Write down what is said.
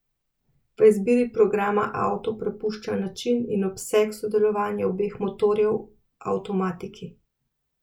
V izbiri programa auto prepušča način in obseg sodelovanja obeh motorjev avtomatiki.